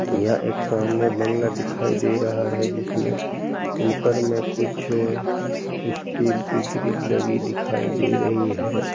यह एक सामने बांग्ला दिखाई दे रहा है जिसमें ऊपर में कुछ स्टील की ग्रिल लगी दिखाई दे रही है |